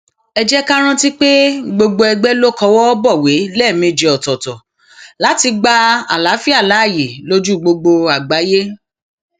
ẹ jẹ ká rántí pé gbogbo ègbé ló kọwọ bọwé lẹẹmejì ọtọọtọ láti gba àlàáfíà láàyè lójú gbogbo àgbáyé